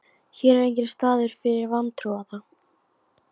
Hér er enginn staður fyrir vantrúaða.